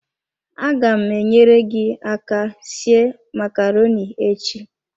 Aga m enyere gi aka sie macaroni echi.